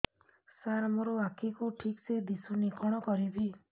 ସାର ମୋର ଆଖି କୁ ଠିକସେ ଦିଶୁନି କଣ କରିବି